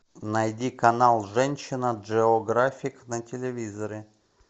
найди канал женщина джеографик на телевизоре